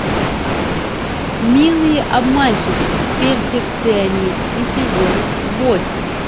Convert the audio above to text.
милые обманщицы перфекционистки сезон восемь